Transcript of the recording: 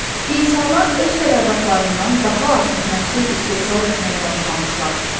İnsanlar öz tələbatlarından daha artıq məhsul istehsal etməyə başlamışlar.